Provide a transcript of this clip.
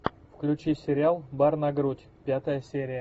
включи сериал бар на грудь пятая серия